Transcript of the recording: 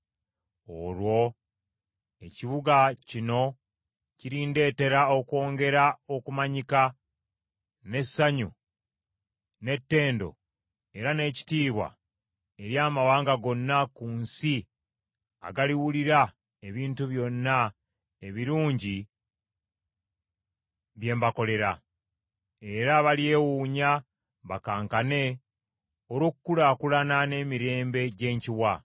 Olwo ekibuga kino kirindetera okwongera okumanyika, n’essanyu, n’ettendo era n’ekitiibwa eri amawanga gonna ku nsi agaliwulira ebintu byonna ebirungi bye mbakolera; era balyewuunya bakankane olw’okukulaakulana n’emirembe gye nkiwa.’